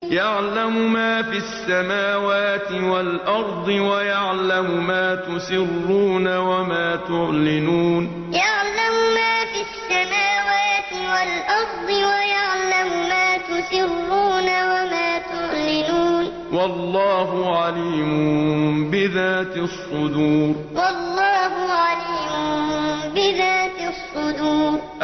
يَعْلَمُ مَا فِي السَّمَاوَاتِ وَالْأَرْضِ وَيَعْلَمُ مَا تُسِرُّونَ وَمَا تُعْلِنُونَ ۚ وَاللَّهُ عَلِيمٌ بِذَاتِ الصُّدُورِ يَعْلَمُ مَا فِي السَّمَاوَاتِ وَالْأَرْضِ وَيَعْلَمُ مَا تُسِرُّونَ وَمَا تُعْلِنُونَ ۚ وَاللَّهُ عَلِيمٌ بِذَاتِ الصُّدُورِ